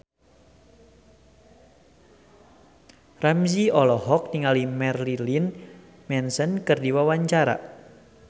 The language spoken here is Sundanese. Ramzy olohok ningali Marilyn Manson keur diwawancara